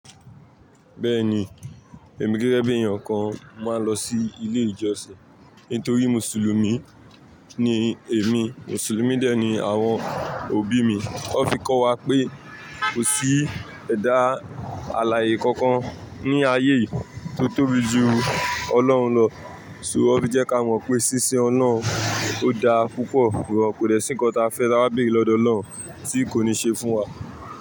Bẹ́ẹ̀ni, èmi gẹ́gẹ́ bí èèyàn kan máa lọ sí ilé ìjọsìn nítorí Mùsùlùmí ni èmi. Mùsùlùmí dè ẹ́ ni àwọn òbí mi. Wọ́n fi kọ́ wa pé kò sí ẹ̀dá àlàyé kankan ní ayé yìí tó tóbi ju Ọlọ́run lọ. So wọ́n fi jẹ́ ká mọ̀ pé ṣíṣin Oloun ọ́ da púpọ̀, kobdẹ̀ sí nkán ta fẹ́ ta bs béèrè lọ́dọ̀ Ọlọ́run tí kò ní ṣe fún wa.